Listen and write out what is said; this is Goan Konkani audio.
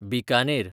बिकानेर